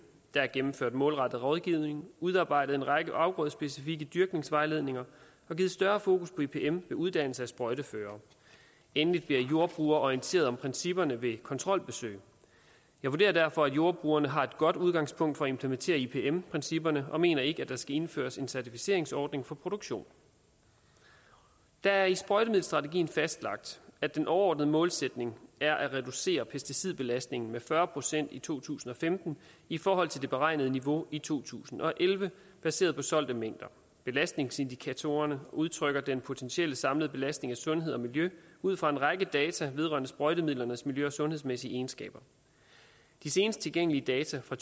der er gennemført målrettet rådgivning udarbejdet en række afgrødsspecifikke dyrkningsvejledninger og givet større fokus på ipm ved uddannelse af sprøjteførere endelig bliver jordbrugere orienteret om principperne ved kontrolbesøg jeg vurderer derfor at jordbrugerne har et godt udgangspunkt for at implementere ipm principperne og mener ikke at der skal indføres en certificeringsordning for produktion det er i sprøjtemiddelstrategien fastlagt at den overordnede målsætning er at reducere pesticidbelastningen med fyrre procent i to tusind og femten i forhold til det beregnede niveau i to tusind og elleve baseret på solgte mængder belastningsindikatorerne udtrykker den potentielle samlede belastning af sundhed og miljø ud fra en række data vedrørende sprøjtemidlernes miljø og sundhedsmæssige egenskaber de senest tilgængelige data fra